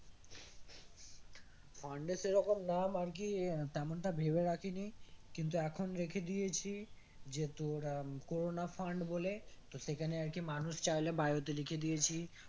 Fund এর সেরকম নাম আর কি আহ তেমনটা ভেবে রাখিনি কিন্তু এখন রেখে দিয়েছি যে তোর আহ উম কোরোনা fund বলে তো সেখানে আর কি মানুষ চাইলে bio তে লেখে দিয়েছি